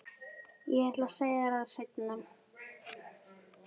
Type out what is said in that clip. Ég ætlaði að segja þér það seinna.